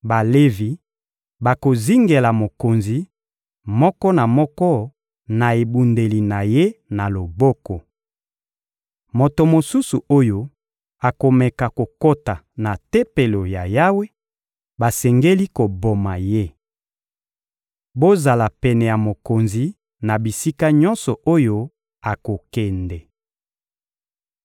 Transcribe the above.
Balevi bakozingela mokonzi, moko na moko na ebundeli na ye na loboko. Moto mosusu oyo akomeka kokota na Tempelo ya Yawe, basengeli koboma ye. Bozala pene ya mokonzi na bisika nyonso oyo akokende.›»